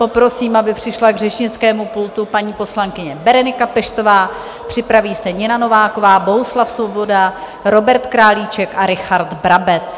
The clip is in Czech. Poprosím, aby přišla k řečnickému pultu paní poslankyně Berenika Peštová, připraví se Nina Nováková, Bohuslav Svoboda, Robert Králíček a Richard Brabec.